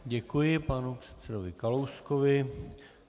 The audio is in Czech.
Děkuji panu předsedovi Kalouskovi.